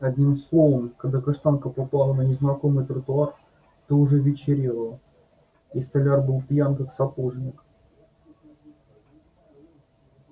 одним словом когда каштанка попала на незнакомый тротуар то уже вечерело и столяр был пьян как сапожник